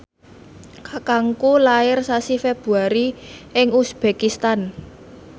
kakangku lair sasi Februari ing uzbekistan